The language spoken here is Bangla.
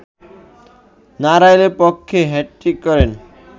নড়াইলের পক্ষে হ্যাটট্রিক করেন